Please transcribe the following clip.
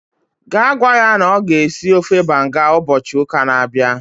gaa gwa ya na ọ ga-esi ofe banga ụbọchị ụka na-abịa